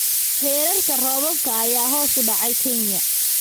Heerarka roobabka ayaa hoos u dhacay Kenya.